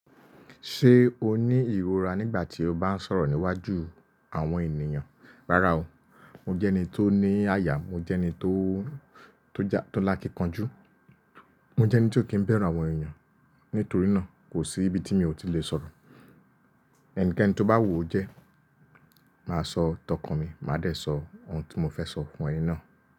Ṣé o ní ìrora nígbà tí o bá ń sọ̀rọ̀ níwájú àwọn ènìyàn? Rárá o, mo jẹ́ ẹni tó ní àyà, mo jẹ́ ẹni tó, tó ja, tó lakíkanjú, mo jẹ́ ẹni tí ó kì í bẹ̀rù àwọn èeyàn. Nítorí náà kò sí ibi tí mi ò tí lè sọ̀rọ̀. Ẹnikẹ́ni tó bá wùú o jẹ́, màá sọ tọkan mi, màá dẹ̀ sọ ohun tí mo fẹ́ sọ fún ẹni náà.